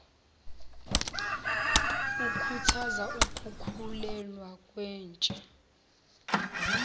ikhuthaza ukukhulelwa kwentsha